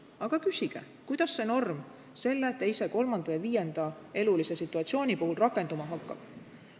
Aga küsige, kuidas see või teine norm selle, teise, kolmanda ja viienda elulise situatsiooni puhul rakenduma hakkab.